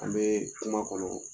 An bɛ kuma kɔnɔ